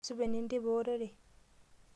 Supa enenteipa orere?